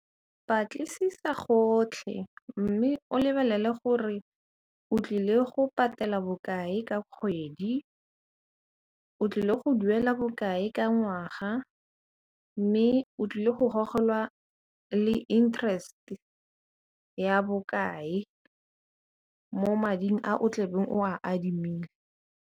Batlisisa gotlhe mme o lebelele gore o tlile go patela bokae ka kgwedi, o tlile go duela bokae ka ngwaga mme o tlile go gogelwa le interest ya bokae mo mading a o tlabeng o a adimile.